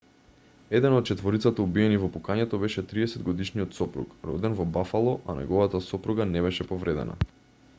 еден од четворицата убиени во пукањето беше 30-годишниот сопруг роден во бафало а неговата сопруга не беше повредена